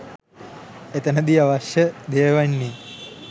එතනදි අවශ්‍ය දෙය වෙන්නේ